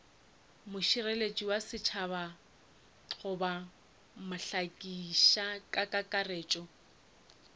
mošireletši wa setšhaba goba mohlakišikakaretšo